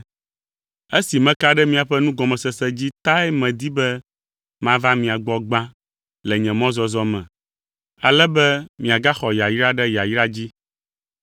Esi meka ɖe miaƒe nugɔmesese dzi tae medi be mava mia gbɔ gbã le nye mɔzɔzɔ me, ale be miagaxɔ yayra ɖe yayra dzi.